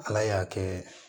Ala y'a kɛ